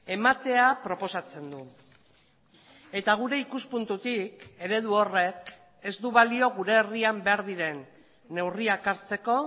ematea proposatzen du eta gure ikuspuntutik eredu horrek ez du balio gure herrian behar diren neurriak hartzeko